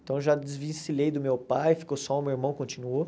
Então eu já desvincilei do meu pai, ficou só o meu irmão, continuou.